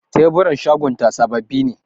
Teburan shagonta sababbi ne.